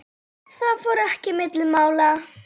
Það fór ekki milli mála.